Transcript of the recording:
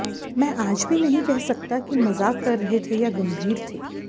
मैं आज भी नहीं कह सकता कि मजाक कर रहे थे या गंभीर थे